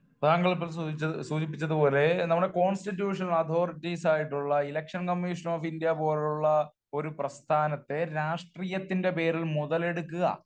താങ്കൾ ഇപ്പോൾ സൂചി, സൂചിപ്പിച്ചത് നമ്മുടെ കോൺസ്റ്റിറ്റ്യൂഷൻ അതോരിറ്റീസ് ആയിട്ടുള്ള ഇലക്ഷൻ കമ്മീഷൻ ഓഫ് ഇന്ത്യ പോലുള്ള ഒരു പ്രസ്ഥാനത്തെ രാഷ്ട്രീയത്തിന്റെ പേരിൽ മുതലെടുക്കുക